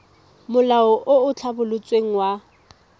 molao o o tlhabolotsweng wa